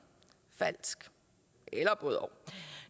falsk eller både og